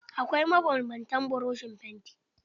Akwai mabanbantan buroshin fanti.